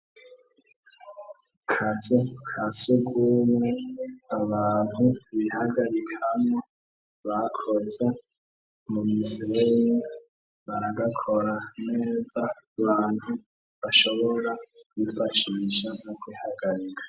kazu kasugumwe abantu bihagarikamwo bakoze mu misirere baragakora neza bantu bashobora kwifashisha no kwihagarika